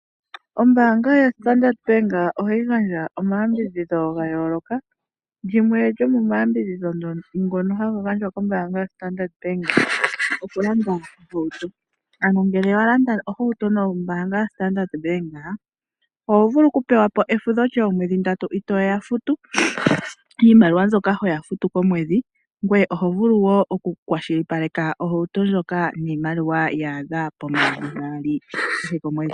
Ombaanga yoStandard bank ohayi gandja omayambidhidho gayooloka, limwe lyomomayambidhidho ngono haga gandjwa kombaanga yoStandard bank okulanda ohauto. Ano ngele walanda ohauto nombaanga yoStandard bank ohovulu kupewa po efudho lyoomwedhi ndatu itooya futu iimaliwa mbyoka hoya futu komwedhi, ngoye vulu wo okukwashilipaleka ohauto ndjoka niimaliwa yaadha pomayovi gaali kehe komwedhi.